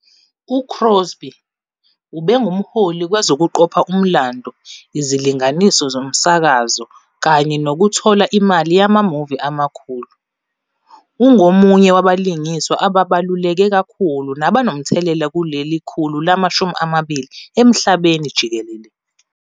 UCrosby ube ngumholi kwezokuqopha umlando, izilinganiso zomsakazo, kanye nokuthola imali yama-movie amakhulu - ungomunye wabalingiswa ababaluleke kakhulu nabanomthelela kuleli khulu lama-20 emhlabeni jikelele.